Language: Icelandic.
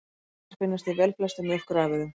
Gerlar finnast í velflestum mjólkurafurðum.